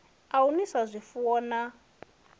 a u nwisa zwifuwo na